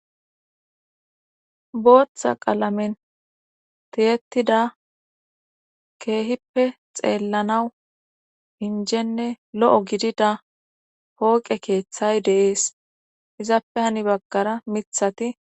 booththa qalamen tiyetida keehippe xeellanawu injenne lo7o gidida pooqe keeththay deees izappe hani baggara mithati